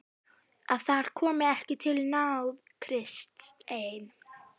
Að þar komi ekki til náð Krists ein.